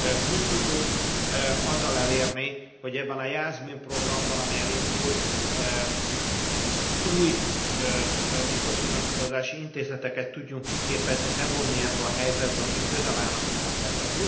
Pluszt tudjunk azzal elérni, hogy ebben a JASMINE programban, ami elindul, új mikrofinanszírozási intézeteket tudjunk kiképezni, bevonni ebbe a helyzetbe, akik közel állnak az emberhez.